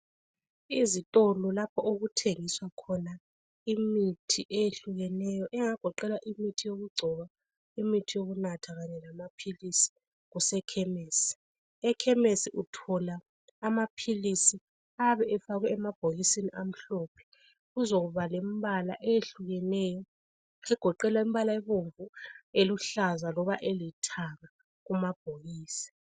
Izitolo lapho okuthengiswa khona imithi eyehlukeneyo engagoqela imithi yokugcoba , imithi yokunatha kanye lamaphilisi kusekhemisi .Ekhemisi uthola amaphilisi ayabe efakwe emabhokisini amhlophe , kuzokuba lembala ehlukeneyo egoqela imbalance ebomvu eluhlaza loba elithanga kumabhokisi